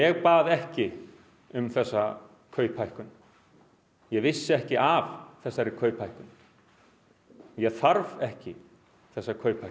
um þessa hækkun ég vissi ekki af þessari hækkun ég þarf ekki þessa hækkun í upphafi